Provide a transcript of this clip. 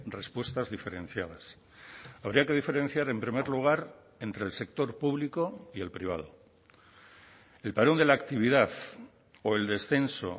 respuestas diferenciadas habría que diferenciar en primer lugar entre el sector público y el privado el parón de la actividad o el descenso